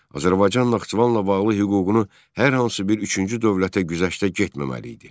Azərbaycan Naxçıvanla bağlı hüququnu hər hansı bir üçüncü dövlətə güzəştə getməməli idi.